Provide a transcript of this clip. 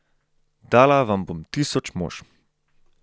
Dala vam bom tisoč mož.